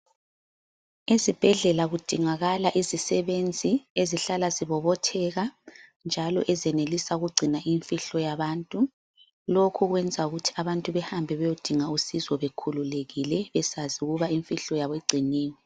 Ezibhedlela kudingakala izisebenzi ezihlala zibobotheka, njalo ezenelisa ukugcina imfihlo yabantu. Lokhu kwenza abantu behambe bayedinga usizo bekhululekile besazi ukuba imfihlo yabo igciniwe.